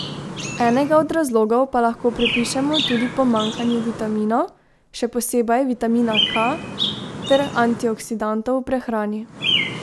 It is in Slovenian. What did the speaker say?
Enega od razlogov pa lahko pripišemo tudi pomanjkanju vitaminov, še posebej vitamina K, ter antioksidantov v prehrani.